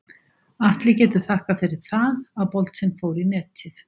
Atli getur þakkað fyrir það að boltinn fór í netið.